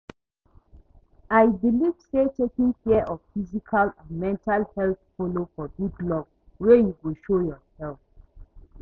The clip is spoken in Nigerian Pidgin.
I believe say taking care of physical and mental health follow for big love wey you go show yourself.